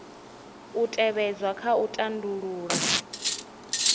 u tevhedzwa kha u tandulula